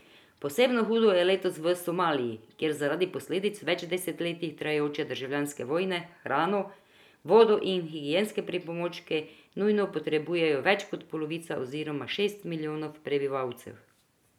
Posebno hudo je letos v Somaliji, kjer zaradi posledic več desetletij trajajoče državljanske vojne hrano, vodo in higienske pripomočke nujno potrebuje več kot polovica oziroma šest milijonov prebivalcev.